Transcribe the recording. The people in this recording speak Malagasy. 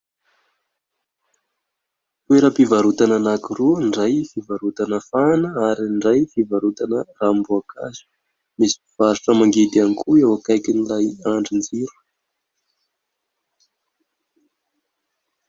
Toeram-pivarotana anankiroa, ny iray fivarotana fahana ary ny iray fivarotana ranom-boankazo. Misy mpivarotra mangidy ihany koa eo akaikin'ilay andrinjiro.